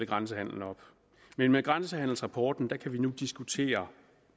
grænsehandelen op men med grænsehandelsrapporten kan vi nu diskutere